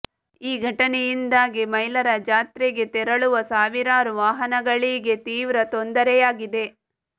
ಈ ಘಟನೆಯಿಂದಾಗಿ ಮೈಲಾರ ಜಾತ್ರೆಗೆ ತೆರಳುವ ಸಾವಿರಾರು ವಾಹನಗಳಿಗೆ ತೀವ್ರ ತೊಂದರೆಯಾಗಿದೆ